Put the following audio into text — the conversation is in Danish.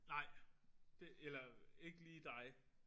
Nej. Det eller ikke lige dig